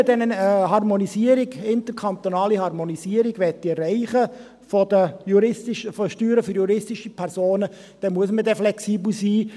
Denn wenn man eine interkantonale Harmonisierung der Steuern für juristische Personen erreichen will, dann muss man flexibel sein.